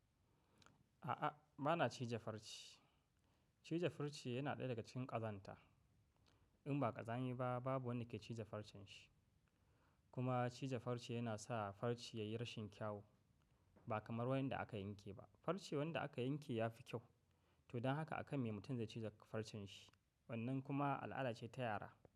A'a, ba na cije farce. Cije farce yana ɗaya daga cikin ƙazanta. In ba kazami ba, babu wanda ke cije farcen shi. Kuma cije farce yana sa farce ya yi rashin kyau ba kamar waɗanda aka yanke ba. Farce waɗanda aka yanke ya fi kyau. To don haka akan mai mutum ya cije farcen shi. Wannan kuma al'ada ce ta yara.